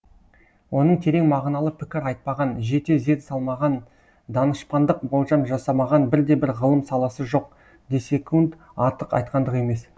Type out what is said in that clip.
оның терең мағыналы пікір айтпаған жете зер салмаған данышпандық болжам жасамаған бірде бір ғылым саласы жоқ десек артық айтқандық емес